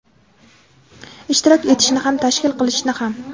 Ishtirok etishni ham, tashkil qilishni ham.